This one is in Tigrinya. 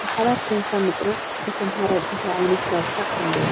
ብሓባር ኮይንካ ምፅናዕ ንተመሃራይ እንታይ ዓይነት ረብሓ ኣለዎ?